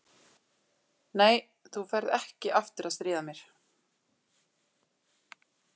Nei, þú ferð ekki aftur að stríða mér.